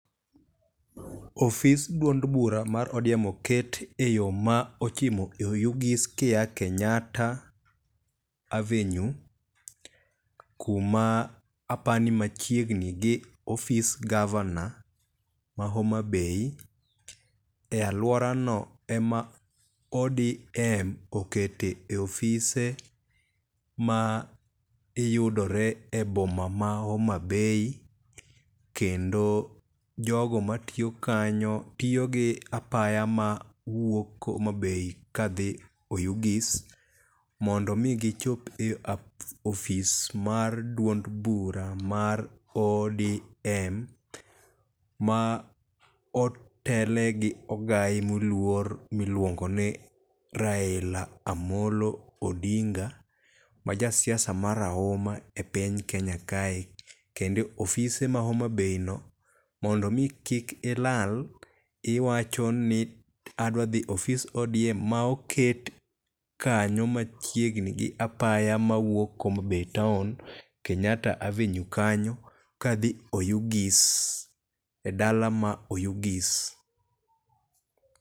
Ofis duond bura mar ODM oket e yo mochimo Oyugis ka ia Kenyatta Avenue kuma aparo ni machiegni gi ofis Gavana ma Homa Bay. E aluora no ema ODM oketo e ofise ma yudore e boma ma Homa Bay. Kendo jogo matiyo kanyo tiyo gi apaya ma wuok Homa Bay ka dhi Oyugis. Mondo mi gichop e ofis mar duond bura mar ODM ma otelne gi ogayi moluor miluongo ni Raila Amolo Odinga ma ja siasa ma rahuma e piny Kenya kae. Kendo ofise ma Homa Bay no mondo mi kik ilal, iwacho ni adwa dhi ofis ODM ma oket kanyo machiegni gi apaya ma wuok Homa Bay town Kenyatta Avenue kanyo kadho Oyugis e dala ma Oyugis.